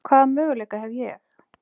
Hvaða möguleika hef ég?